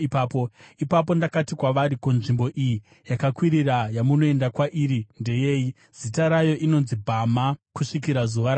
Ipapo ndakati kwavari: Ko, nzvimbo iyi yakakwirira yamunoenda kwairi ndeyei?’ ” (Zita rayo inonzi Bhama kusvikira zuva ranhasi.)